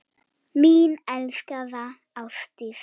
Mín elskaða Ásdís.